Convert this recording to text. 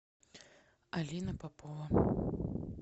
алина попова